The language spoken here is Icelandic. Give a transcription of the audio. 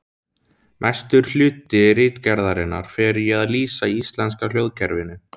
Mestur hluti ritgerðarinnar fer í að lýsa íslenska hljóðkerfinu.